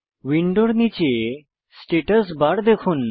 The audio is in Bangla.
উইন্ডোর নীচে স্ট্যাটাস বার দেখুন